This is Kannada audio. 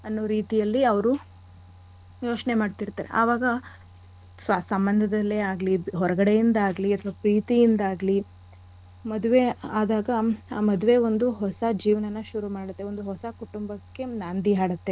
ಅನ್ನೋ ರೀತಿಯಲ್ಲಿ ಅವ್ರು ಯೋಚ್ನೆ ಮಾಡ್ತಿರ್ತಾರೆ. ಆವಾಗ ಸಂಬಂಧದಲ್ಲೇ ಆಗ್ಲಿ ಹೊರಗಡೆ ಇಂದಾಗ್ಲಿ ಅಥವಾ ಪ್ರೀತಿಯಿಂದಾಗ್ಲಿ ಮದ್ವೆ ಆದಾಗ ಆ ಮದ್ವೆ ಒಂದು ಹೊಸ ಜೀವನನ ಶುರು ಮಾಡತ್ತೆ. ಒಂದು ಹೊಸ ಕುಟುಂಬಕ್ಕೆ ನಾಂದಿ ಹಾಡತ್ತೆ.